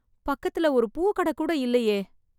பக்கத்துல ஒரு பூ கடை கூட இல்லையே.